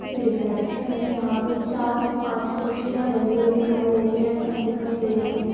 Reception है यहाँ पे चार से पांच कुर्सियां डली हुई दिखाई दे रही है रखी हुई दिखाई दे रही है।